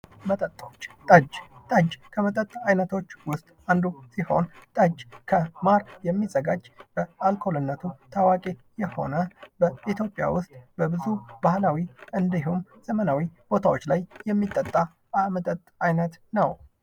መጠጦች፦ ጠጅ፤ ጠጅ ከመጠጠች አይነቶች ውስጥ አንዱ ሲሆን ጠጅ ከማር የሚዘጋጅ በአልኮልነቱ ታዋቂ የሆነ በኢትዮጵያ ውስጥ በብዙ ባህላዊ እንዲሁም ዘመናዊ ቦታዎች ላይ የሚጠጣ መጠጥ አይነት ነው።